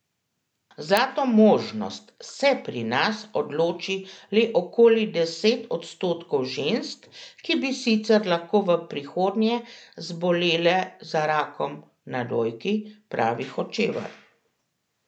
Za to možnost se pri nas odloči le okoli deset odstotkov žensk, ki bi sicer lahko v prihodnje zbolele za rakom na dojki, pravi Hočevar.